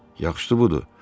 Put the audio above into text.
Yaxşısı budur.